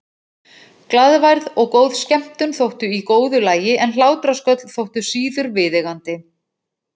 Glaðværð og góð skemmtun þóttu í góðu lagi en hlátrasköll þóttu síður viðeigandi.